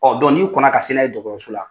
Ɔɔ n'i kɔn na ka se n'a ye dɔgɔtɔrso la